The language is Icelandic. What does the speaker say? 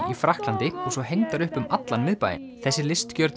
í Frakklandi og svo hengdar upp um allan miðbæinn þessi